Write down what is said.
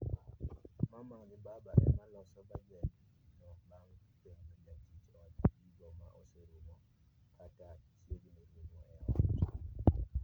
Mama gi baba ema loso bajed no bang' penjo jatich od gigo ma oserumo, kata chiegni rumo e ot